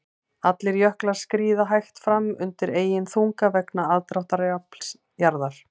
Allir jöklar skríða hægt fram undan eigin þunga vegna aðdráttarafls jarðar.